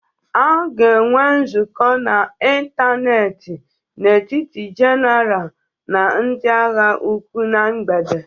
A ga-enwe nzukọ n'ịntanetị n'etiti General na ndị agha ụkwụ na mgbede